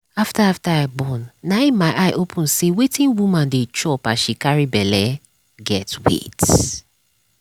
after after i born na my eye open say wetin woman dey chop as she carry belle get weight